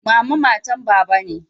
Mama matan baba ne.